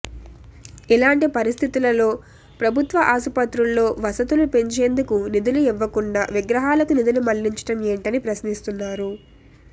ఇలాంటి పరిస్థితుల్లో ప్రభుత్వ ఆసుపత్రుల్లో వసతులు పెంచేందుకు నిధులు ఇవ్వకుండా విగ్రహాలకు నిధులు మళ్లించటం ఏంటని ప్రశ్నిస్తున్నారు